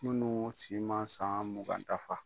Minnu si ma san mugan dafa.